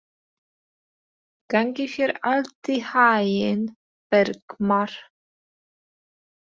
Gangi þér allt í haginn, Bergmar.